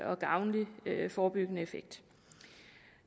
og gavnlig forebyggende effekt